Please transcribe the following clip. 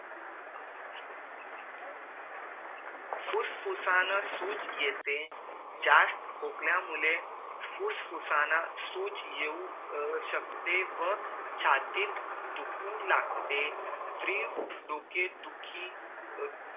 फुस्फुसाना सूज येते जास्त खोकल्या मुळे फुस्फुसाना सूज येऊ शकते व छातीत दुखू लागते त्रिवं डोके दुखी